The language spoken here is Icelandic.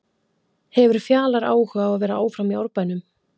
Hefur Fjalar áhuga á að vera áfram í Árbænum?